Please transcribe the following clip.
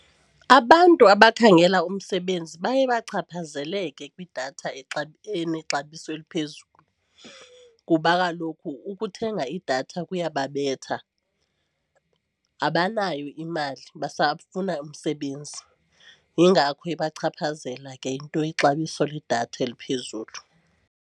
Abantu abakhangela umsebenzi baye bachaphazeleke kwidatha enexabiso eliphezulu kuba kaloku ukuthenga idatha kuyababetha. Abanayo imali basafuna umsebenzi yingakho ibachaphazela ke into ixabiso ledatha eliphezulu.